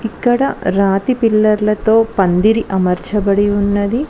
ఇక్కడ రాతి పిల్లర్లతో పందిరి అమర్చబడి ఉన్నది.